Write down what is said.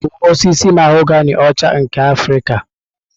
Nke a ọ bụ osisi mahogani ọcha nke Afrịka?